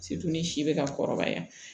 si bɛ ka kɔrɔbaya